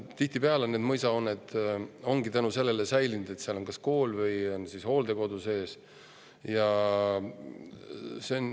Tihtipeale on mõisahooned just tänu sellele säilinud, et neis on kas kool või hooldekodu sees.